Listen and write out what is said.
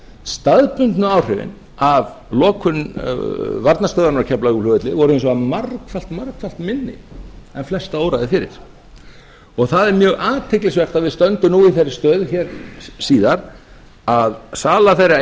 staðbundnu áhrifin af lokun varnarstövðarinanr á keflavíkurflugvelli voru margfalt margfalt minni en flesta óraði fyrir það er mjög athyglisvert að við stöndum nú í þeirri stöðu hér síðar að sala þeirra